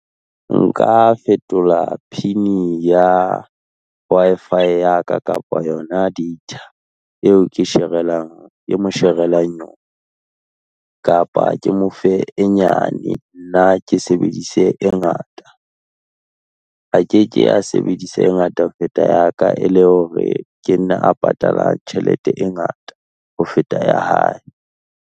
Nka fetola pin ya Wi-Fi ya ka kapa yona data, eo ke sherelang, ke mo sherelang yona, kapa ke mofe e nyane, nna ke sebedise e ngata. A ke ke a sebedisa e ngata ho feta ya ka e le hore ke nna a patalang tjhelete e ngata ho feta ya hae.